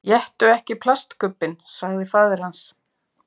Éttu ekki plastkubbinn, sagði faðir hans.